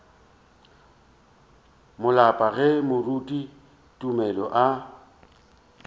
maloba ge moruti tumelo a